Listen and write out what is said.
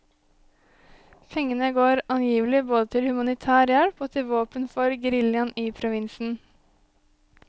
Pengene går angivelig både til humanitær hjelp og til våpen for geriljaen i provinsen.